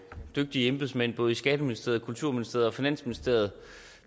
dygtige embedsmænd i både skatteministeriet kulturministeriet og finansministeriet